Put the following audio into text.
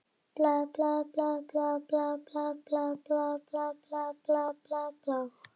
Á þessum árum varð stofnunin einnig þjálfunarstöð fyrir unga íslenska jarðvísindamenn.